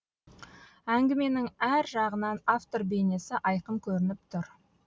әңгіменің әр жағынан автор бейнесі айқын көрініп тұр